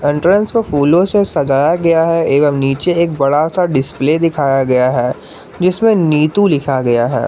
Entrance को फूलों से सजाया गया है एवं नीचे एक बड़ा सा डिस्प्ले दिखाया गया है जिसमें नीतू लिखा गया है।